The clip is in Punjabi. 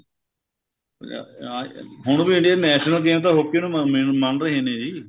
ਅਹ ਆ ਹੁਣ ਵੀ Indian national game ਨੂੰ ਤਾਂ hockey ਨੂੰ ,ਮੰਨਦੇ ਮੰਨ ਰਹੇ ਨੇ ਜੀ